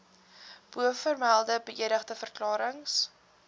bovermelde beëdigde verklarings